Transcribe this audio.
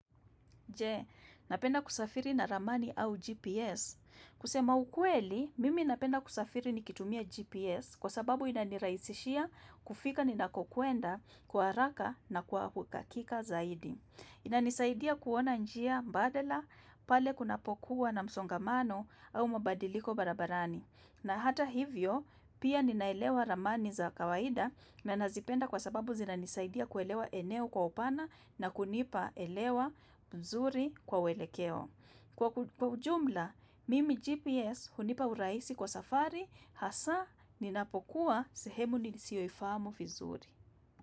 Je, napenda kusafiri na ramani au GPS. Kusema ukweli, mimi napenda kusafiri nikitumia GPS kwa sababu inanirahisishia kufika ni nakokwenda kwa haraka na kwa uhakika zaidi. Inanisaidia kuona njia mbadala pale kunapokuwa na msongamano au mabadiliko barabarani. Na hata hivyo, pia ninaelewa ramani za kawaida na nazipenda kwa sababu zinanisaidia kuelewa eneo kwa upana na kunipa elewa nzuri kwa uelekeo. Kwa kujumla, mimi GPS hunipa urahisi kwa safari, hasa, ninapokuwa sehemu nisiyoifamu vizuri.